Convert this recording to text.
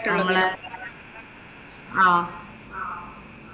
നമ്മടെ, ആഹ്